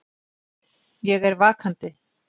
Ég er vakandi.